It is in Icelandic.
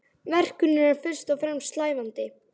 Verkunin er fyrst og fremst slævandi.